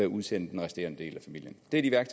udsende den resterende del af familien det